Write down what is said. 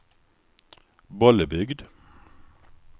Bollebygd